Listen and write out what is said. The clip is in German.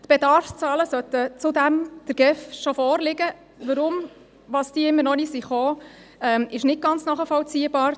Die Bedarfszahlen sollten zudem der GEF bereits vorliegen, weshalb diese immer noch nicht gekommen sind, ist nicht ganz nachvollziehbar.